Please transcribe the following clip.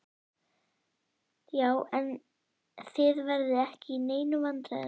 Já, en þið verðið ekki í neinum vandræðum.